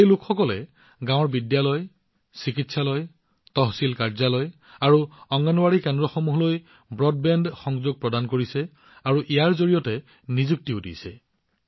এই লোকসকলে গাওঁৰ বিদ্যালয় চিকিৎসালয় তহচিল কাৰ্যালয় আৰু অংগনৱাড়ী কেন্দ্ৰসমূহলৈ ব্ৰডবেণ্ড সংযোগ প্ৰদান কৰি আছে আৰু ইয়াৰ পৰা নিযুক্তিও লাভ কৰিছে